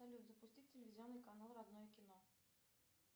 салют запусти телевизионный канал родное кино